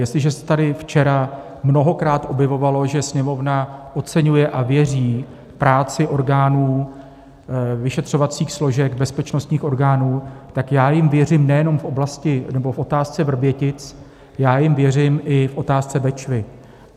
Jestliže se tady včera mnohokrát objevovalo, že Sněmovna oceňuje a věří práci orgánů vyšetřovacích složek bezpečnostních orgánů, tak já jim věřím nejenom v oblasti nebo v otázce Vrbětic, já jim věřím v i otázce Bečvy.